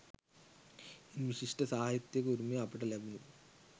ඉන් විශිෂ්ට සාහිත්‍යයක උරුමය අපට ලැබුණි.